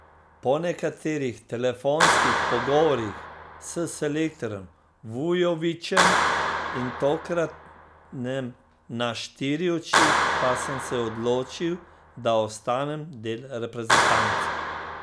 Po nekaterih telefonskih pogovorih s selektorjem Vujovićem in tokratnem na štiri oči pa sem se odločil, da ostanem del reprezentance.